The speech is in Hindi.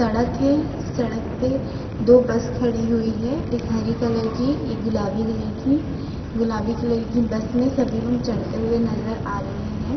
सड़क है। सड़क पे दो बस खड़ी हुई है। एक हरी कलर की एक गुलाबी कलर की गुलाबी कलर की बस में सभी लोग चढ़ते हुए नज़र आ रहे हैं।